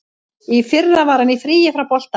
Í fyrra var hann í fríi frá boltanum.